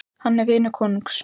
Hann er vinur konungs.